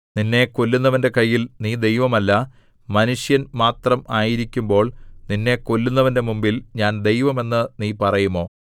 നിന്നെ കൊല്ലുന്നവന്റെ കയ്യിൽ നീ ദൈവമല്ല മനുഷ്യൻ മാത്രം ആയിരിക്കുമ്പോൾ നിന്നെ കൊല്ലുന്നവന്റെ മുമ്പിൽ ഞാൻ ദൈവം എന്ന് നീ പറയുമോ